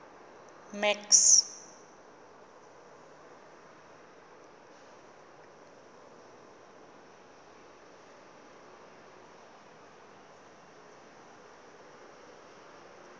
max